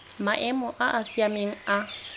maemo a a siameng a